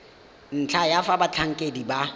ntlha ya fa batlhankedi ba